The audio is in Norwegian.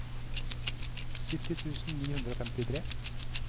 sytti tusen ni hundre og femtitre